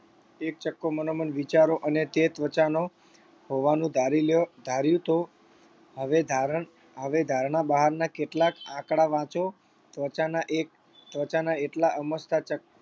એક ચક્કો મનોમન વિચારો અને તે ત્વચાનો હોવાનું ધારી લો ધાર્યું તો હવે ધારણ હવે ધારણા બહારના કેટલાક આંકડા વાંચો ત્વચાના એક ત્વચાના એટલા અમસ્તા ચક્કા